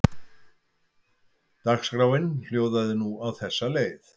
Dagskráin hljóðaði nú á þessa leið